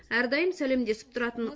әрдайым сәлемдесіп тұратын